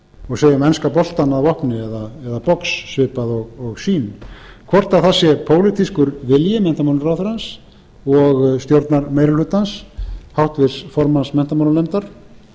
og segir með enska boltann á lofti eða box svipað og sýn hvort það sé pólitískur vilji menntamálaráðherrans og stjórnarmeirihlutans háttvirts formanns menntamálanefndar